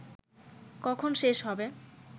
কখন শেষ হবে